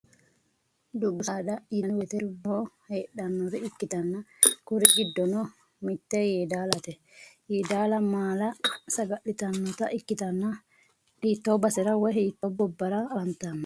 Dubbu saada yiinaanni woyte dubboho heedhanore ikkitanna kuri giddono mitte yeedalate. Yeedala maala saga'litanota ikkitanna hitto basera woy hiitto gobbara afantanno?